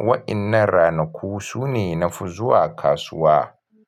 Waɗannan ranaku sune na fi zuwa kasuwa.